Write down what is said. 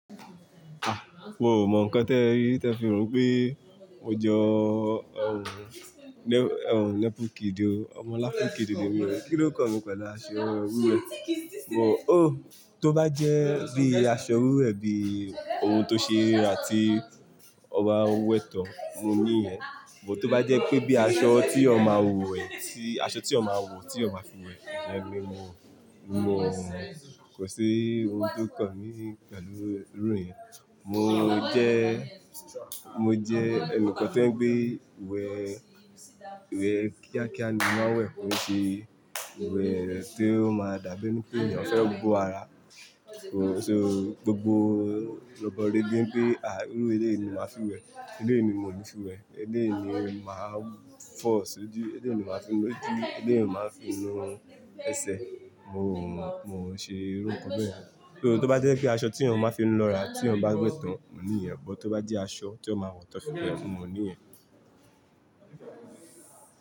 Mio ò mọ nǹkan tí ẹ rí tí ẹ fi rò wipé mo jọ ohun, ohun lẹ́pùkìdì o, ọmọ aláápùkìdì ni mí o, kí ló kàn mí pẹ̀lú aṣọ wiwẹ́? Mo, oh, tó bá jẹ́ bí i aṣọ wiwẹ́ bí i ohun tó ṣe ríra tí ọba ń wẹ́tọ̀, mo ní ìyẹn. But tó bá jẹ́ pé bí i aṣọ tí èèyàn ma wò ẹ́ sí, aṣọ tí èèyàn ma wò tí èèyàn fi ń wẹ̀, o jẹ pe mo, mo kò ṣi ohun tó kàn ní pẹ̀lú irú ìyẹn. Mo jẹ́, mo jẹ́ ẹnìkan tí ó ń je pé ìwẹ̀, ìwẹ̀ kíákíá ni mọ má n wẹ̀, kò se ìwẹ̀ tí ó máa dàbí ní pé èeyàn fẹ́ bo ara. So gbogbo rọbọ rebe ń pé, à, irú eleyii ni màá fi ń wẹ̀, eleyìí ni mò ńi fi wẹ̀, eleyìí ni màá fọ̀ sí odi, ilé yìí ni màá fi ń nu ojú, ilé yìí ni màá fi ń nu ẹsẹ̀. Mo, mo ṣe irú nǹkan bẹ́yẹ̀n. Though tó bá jẹ́ pé aṣọ tí èèyàn máa fi ń lọ́ra tí wọ́n bá wẹ́tàn, mo ní ìyẹn. But tó bá jẹ́ aṣọ tí èèyàn ma wọ̀ tán fiwẹ, mo ní ìyẹn.